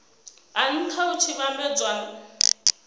a nha hu tshi vhambedzwa